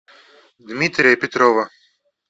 дмитрия петрова